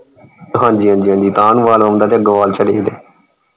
ਹਾਂਜੀ ਹਾਂਜੀ ਹਾਂਜੀ ਤਾਂਹ ਨੂੰ ਵਾਲ ਵਾਉਂਦਾ ਤੇ ਅਗੋਂ ਵਾਲ ਝੜੇ ਹੁੰਦੇ।